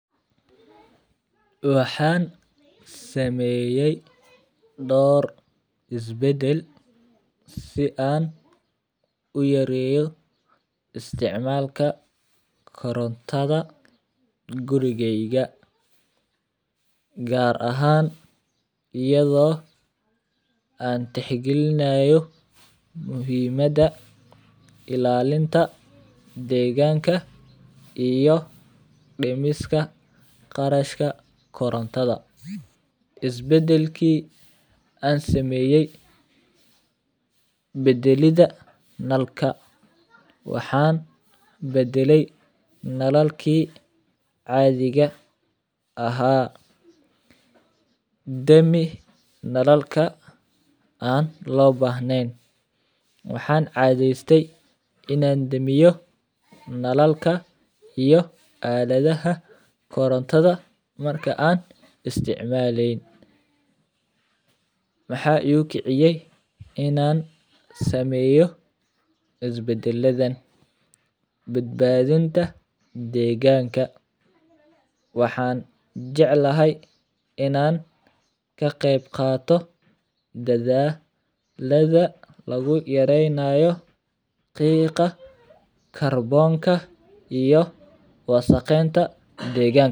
Waxaan saneeyay door is bedel si aan uyareeyo isticmaalka korontada gurigeyga, gaar ahaan ayado aan tix galinayo muhimada ilaalinta deeganka iyo dimista qarashka korontada, is bedelki aan sameyay, bedelida nalka, waxaan bedelay nalalki caadiga ahaa, dami nalalka aan loo bahneen, waxaan cadeeste inaan damiyo nalalka iyo aladaha korontada marka aan isticmaleyn, maxaa igu kiciyay inaan sameeyo is badaladan, badbadinta deeganka, waxaan jeclahay inaan ka qeeb qaato is bedelada lagu yareeynayo qiiqa karboonka iyo wasakhenta deeganka.